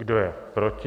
Kdo je proti?